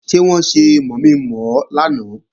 Ṣé wọ́n ṣe mọ̀mi-mọ̀ ọ lánàá?